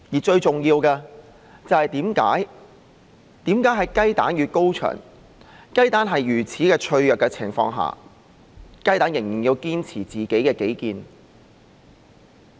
最重要的是，為何在雞蛋與高牆之間，雞蛋在如此脆弱的情況下仍然要堅持己見？